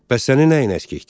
Bəs sənin nəyin əskikdir?